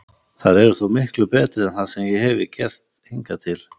Þær eru þó miklu betri en það sem ég hefi gert hingað til.